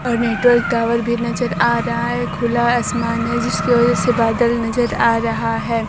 और network tower भी नजर आ रहा है खुला असमान है जिसके वजह से बादल नजर आ रहा है।